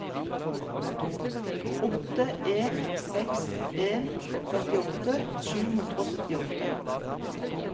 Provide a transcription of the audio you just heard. åtte en seks en førtiåtte sju hundre og syttiåtte